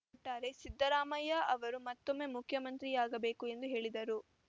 ಒಟ್ಟಾರೆ ಸಿದ್ದರಾಮಯ್ಯ ಅವರು ಮತ್ತೊಮ್ಮೆ ಮುಖ್ಯಮಂತ್ರಿಯಾಗಬೇಕು ಎಂದು ಹೇಳಿದರು